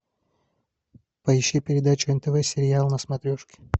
поищи передачу нтв сериал на смотрешке